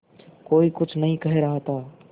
कोई कुछ नहीं कह रहा था